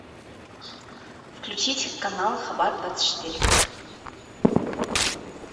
включить канал хабат двадцать четыре